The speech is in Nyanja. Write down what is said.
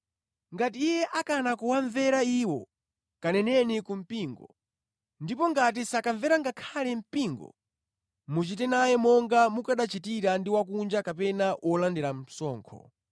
Ngati iye akana kuwamvera iwo, kaneneni ku mpingo; ndipo ngati sakamvera ngakhale mpingo, muchite naye monga mukanachitira ndi wakunja kapena wolandira msonkho.